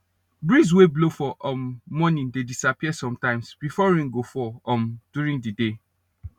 breeze we blow for um morning dey disappear sometimes before rain go fall um during the day